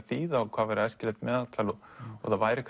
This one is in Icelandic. þýða og hvað væri æskilegt meðaltal og það væri